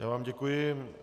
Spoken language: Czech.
Já vám děkuji.